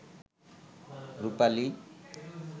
রুপালি